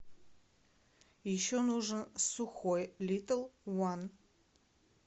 еще нужен сухой литл ван